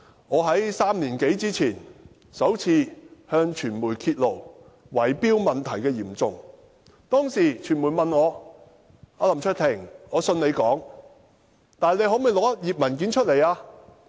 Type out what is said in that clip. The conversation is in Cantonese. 我在3年多前首次向傳媒揭露圍標問題的嚴重程度，當時傳媒問我："林卓廷，我相信你的說話，但你可否拿一頁文件出來作證？